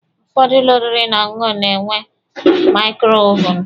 Ụfọdụ ụlọ oriri na ọṅụṅụ na-enwe maikrowaavu